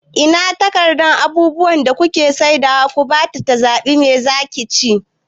Ina takardan abubuwan da kuke saidawa ku bata ta zaɓa, me zaki ci?